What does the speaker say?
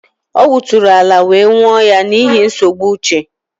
Ọ wuturu ala wee nwuụ ya n'ihi nsogbu uche